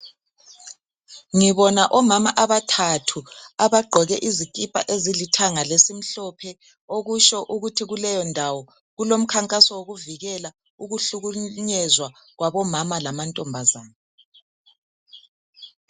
Ngibona omama abathathu ,abagqoke izikhipha ezilithanga lesimhlophe .Okutsho ukuthi kuleyondawo kulomkhankaso, wokuvikela ukuhlukunyezwa kwabomama lamantombazane.